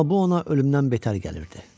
Amma bu ona ölümdən beter gəlirdi.